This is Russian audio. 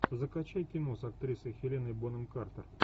закачай кино с актрисой хеленой бонем картер